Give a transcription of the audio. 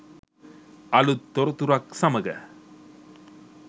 අලුත් තොරතුරක් සමඟ